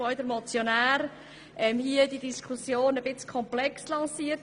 Der Motionär hat die Diskussion ein bisschen komplex lanciert.